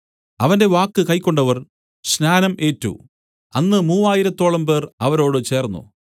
അവന്റെ വാക്ക് കൈക്കൊണ്ടവർ സ്നാനം ഏറ്റു അന്ന് മൂവായിരത്തോളം പേർ അവരോട് ചേർന്നു